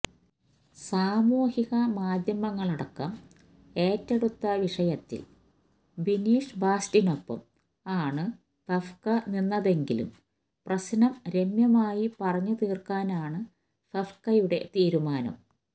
സാമൂഹിക മാധ്യമങ്ങളടക്കം ഏറ്റെടുത്ത വിഷയത്തില് ബിനീഷ് ബാസ്റ്റിനൊപ്പം ആണ് ഫെഫ്ക നിന്നതെങ്കിലും പ്രശ്നം രമ്യമായി പറഞ്ഞു തീര്ക്കാനാണ് ഫെഫ്കയുടെ തീരുമാനം